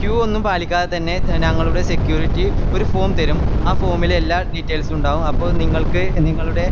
queue ഒന്നും പാലിക്കാതെതന്നെ നങ്ങളുടെ security ഒര് form തെരും ആ form ൽ എല്ലാ details ഉം ഉണ്ടാവും അപ്പൊ നിങ്ങൾക്ക് നിങ്ങളുടെ